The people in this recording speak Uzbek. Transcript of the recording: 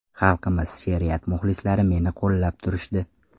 Xalqimiz, she’riyat muxlislari meni qo‘llab turishdi.